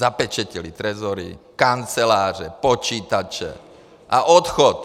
Zapečetili trezory, kanceláře, počítače a odchod!